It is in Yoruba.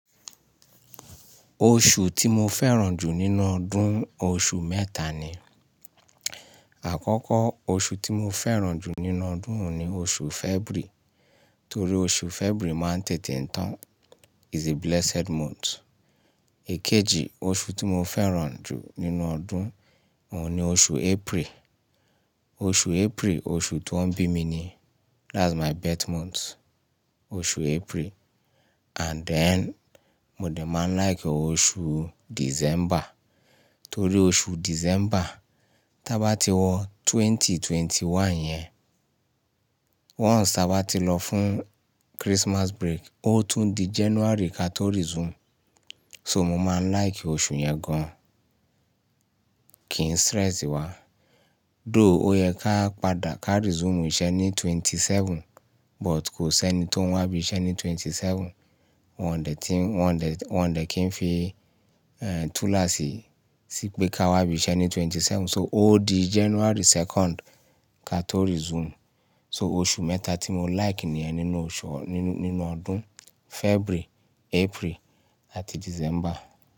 Oṣù tí mo fẹ́ràn jù nínú ọdún, oṣù mẹ́ta ni. Àkọ́kọ́ oṣù tí mo fẹ́ràn jù nínú ọdún òun ni oṣù February, torí oṣù February máa ń tètè tán. Is a blessed month. Èkejì oṣù tí mo fẹ́ràn jù nínú ọdún òun ni oṣù April. Oṣù April oṣù tí wọ́n bí mi ni. That's my birth month, oṣù April. And then mo dẹ̀ máa like oṣù December, torí oṣù December tá bá ti wọ 20, 21 yẹn, once tá bá ti lọ fún Christmas break, ó tún di January ka tó resume. So mo máa like oṣù yẹn gan. Kì í stress wa. Though ó yẹ ká padà ká resume iṣẹ́ ní 27th, but kò sí ẹni tó wá bí iṣẹ́ ní 27th. Wọn dẹ̀ ti wọn dẹ̀, wọn dẹ̀ kí n fi, eh, tool así sí pé ká wá bí iṣẹ́ ní 27th. So ó di January 2nd ka tó resume. So oṣù mẹ́ta tí mo like ni ẹ nínú ọṣọ, nínú, nínú ọdún February, April àti December.